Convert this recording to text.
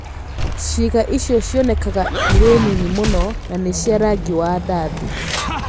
Ciĩga icio cionekaga irĩ nini mũno na nĩ cia rangi wa ndathi.